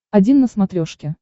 один на смотрешке